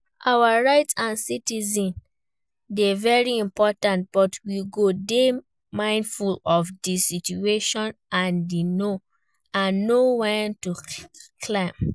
Our rights as citizens dey very important, but we go dey mindful of di situation and know when to calm.